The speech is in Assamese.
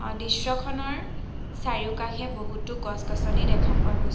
দৃশ্যখনৰ চাৰিওকাষে বহুতো গছ-গছনি দেখা পোৱা গৈছ--।